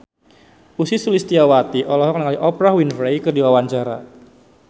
Ussy Sulistyawati olohok ningali Oprah Winfrey keur diwawancara